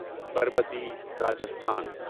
Parbati Rajasthan